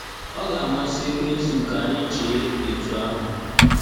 ọ ga-amasị ekwensu ka anyị chee etu ahụ.